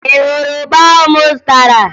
Ị hụrụ ụgba ahụ m zụtara?